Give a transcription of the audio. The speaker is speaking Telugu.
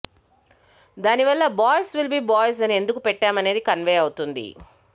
దాని వల్ల బాయ్స్ విల్ బి బాయ్స్ అని ఎందుకు పెట్టామనేది కన్వే అవుతుంది